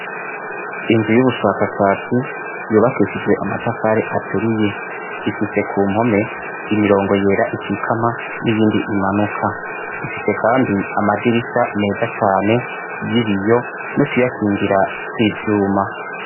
Inzu y'ubushakashatsi, yubakishijwe amatafari aturiye. Ifise ku mpome, imirongo yera ikikama, n'iyindi imanuka. Ifise kandi amadirisha meza cane y'ibiyo, n'utuyakingira tw'ivyuma.